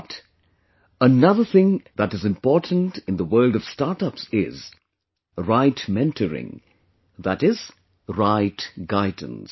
But, another thing that is important in the world of StartUps is, right mentoring, that is, right guidance